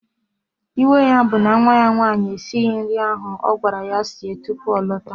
Iwe ya bụ na nwa ya nwaanyị esighị nri ahụ ọ gwara ya sie tupu ọ lọta